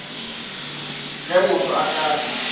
ge motho a ka re